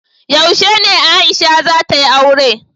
Yaushe ne Aisha za ta yi aure?